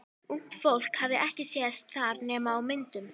Ungt fólk hafði ekki sést þar nema á myndum.